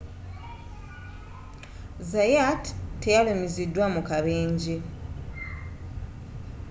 zayat teyalumiziddwa mu kabenje